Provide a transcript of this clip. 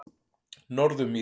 Norðurmýri